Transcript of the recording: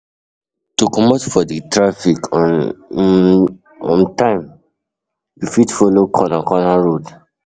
To comot for di traffic on um time um you fit follow corner corner road